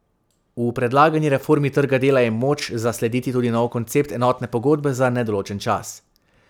V predlagani reformi trga dela je moč zaslediti tudi novi koncept enotne pogodbe za nedoločen čas.